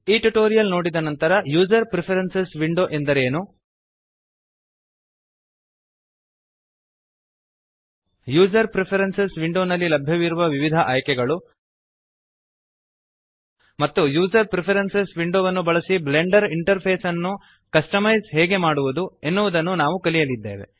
ಈ ಟ್ಯುಟೋರಿಯಲ್ ನೋಡಿದ ನಂತರ ಯೂಜರ್ ಪ್ರಿಫರೆನ್ಸಿಸ್ ವಿಂಡೋ ಎಂದರೆ ಏನು ಯೂಜರ್ ಪ್ರಿಫರೆನ್ಸಿಸ್ ವಿಂಡೋ ನಲ್ಲಿ ಲಭ್ಯವಿರುವ ವಿವಿಧ ಆಯ್ಕೆಗಳು ಮತ್ತು ಯೂಜರ್ ಪ್ರಿಫರೆನ್ಸಿಸ್ ವಿಂಡೋವನ್ನು ಬಳಸಿ ಬ್ಲೆಂಡರ್ ಇಂಟರ್ಫೇಸ್ ಅನ್ನು ಕಸ್ಟಮೈಜ್ ಹೇಗೆ ಮಾಡುವದು ಎನ್ನುವದನ್ನು ನಾವು ಕಲಿಯಲಿದ್ದೇವೆ